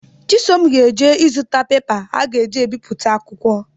Chisom ga-eje ịzụta pepa a ga-eji ebiputa akwụkwọ